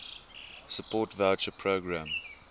support voucher programme